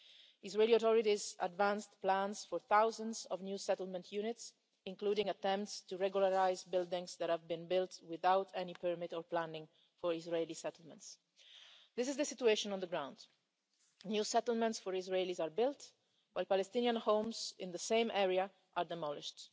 Israeli authorities have advanced plans for thousands of new settlement units, including attempts to regularise buildings that have been built without any permit or planning in Israeli settlements. This is the situation on the ground new settlements for Israelis are built, while Palestinian homes in the same area are demolished.